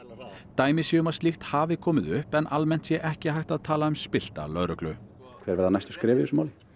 dæmi séu um að slíkt hafi komið upp en almennt sé ekki hægt að tala um spillta lögreglu hver verða næstu skref í þessu máli